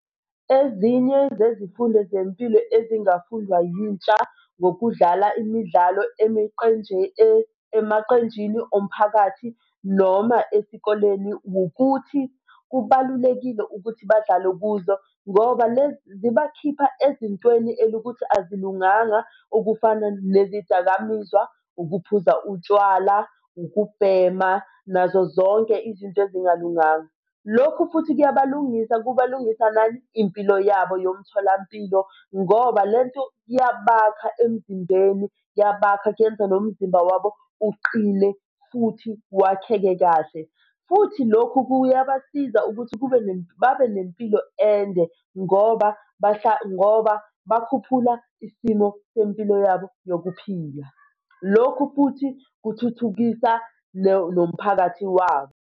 Ezinye zezifundo zempilo ezingafundwa yintsha ngokudlala imidlalo emaqenjini omphakathi noma esikoleni, wukuthi kubalulekile ukuthi badlale kuzo, ngoba lezi zibakhipha ezintweni elukuthi azilunganga okufana nezidakamizwa, ukuphuza utshwala, ukubhema, nazo zonke izinto ezingalunganga. Lokhu futhi kuyabalungisa kuba lungisa nani? Impilo yabo yomtholampilo, ngoba le nto iyabakha emzimbeni iyabakha kuyenza nomzimba wabo uqine futhi wakheke kahle. Futhi lokhu kuyabasiza ukuthi kube babe nempilo ende ngoba ngoba bakhuphula isimo sempilo yabo yokuphila. Lokhu futhi kuthuthukisa nomphakathi wabo.